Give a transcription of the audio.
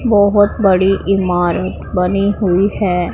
बहोत बड़ी इमारत बनी हुई है।